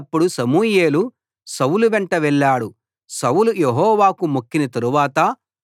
సమూయేలు సౌలు వెంట వెళ్ళాడు సౌలు యెహోవాకు మొక్కిన తరువాత